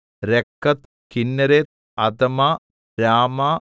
രക്കത്ത് കിന്നേരത്ത് അദമ രാമ